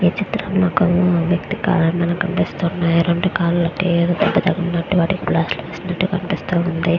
ఈ చిత్రం లో ఒక వేఖ్తి కాలు కనిప్పిస్తూ ఉన్నాయి రెండు కాలు కి దెబ్బ తకినటు వాటికీ ప్లాస్టర్ వేసినటు కనిప్స్తూ ఉంది.